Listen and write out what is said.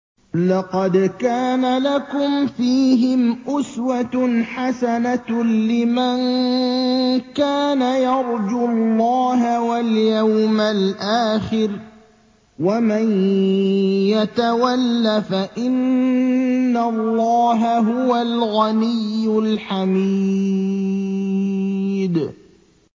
لَقَدْ كَانَ لَكُمْ فِيهِمْ أُسْوَةٌ حَسَنَةٌ لِّمَن كَانَ يَرْجُو اللَّهَ وَالْيَوْمَ الْآخِرَ ۚ وَمَن يَتَوَلَّ فَإِنَّ اللَّهَ هُوَ الْغَنِيُّ الْحَمِيدُ